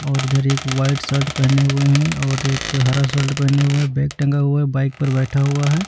और इधर एक वाइट शर्ट पहने हुए हैं और एक हरा शर्ट पहने हुए हैं। बैग टंगा हुआ है। बाइक पर बैठा हुआ है।